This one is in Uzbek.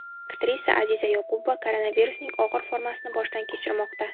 Aktrisa Aziza Yoqubova koronavirusning og‘ir formasini boshdan kechirmoqda.